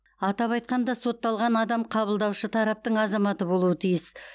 атап айтқанда сотталған адам қабылдаушы тараптың азаматы болуы тиіс